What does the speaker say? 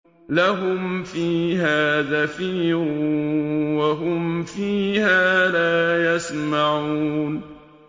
لَهُمْ فِيهَا زَفِيرٌ وَهُمْ فِيهَا لَا يَسْمَعُونَ